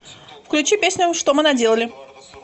включи песню что мы наделали